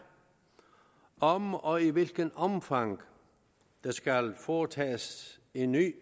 om og i hvilket omfang der skal foretages en ny